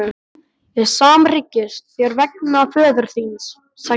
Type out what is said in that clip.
Ég samhryggist þér vegna föður þíns, sagði hann.